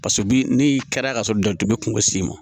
paseke bi ne kɛra ka sɔrɔ dugu bɛ kungo s'i ma